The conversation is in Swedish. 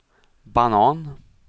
banan